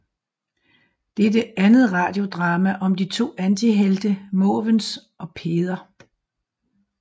Det er det andet radiodrama om de to antihelte Måvens og Peder